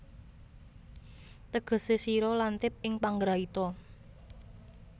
Tegesé sira lantip ing panggraita